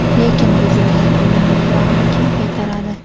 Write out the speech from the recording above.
Lekin buzilgan uyning mablag‘ini kim qaytaradi?